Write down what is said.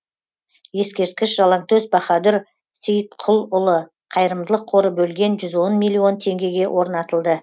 ескерткіш жалаңтөс баһадүр сейітқұлұлы қайырымдылық қоры бөлген жүз он миллион теңгеге орнатылды